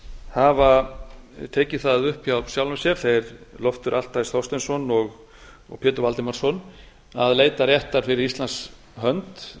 hafa tekið það upp hjá sjálfum sér þeir loftur þorsteinsson og pétur valdimarsson að leita réttar fyrir íslands hönd